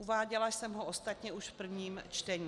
Uváděla jsem ho ostatně už v prvním čtení.